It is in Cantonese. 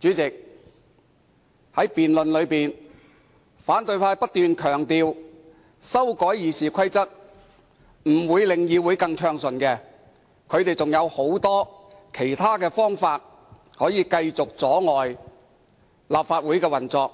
主席，在辯論中，反對派不斷強調修改《議事規則》並不能令議會運作更為暢順，因為他們仍有很多其他方法可以繼續阻礙立法會的運作，